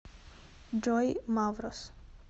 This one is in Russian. джой маврос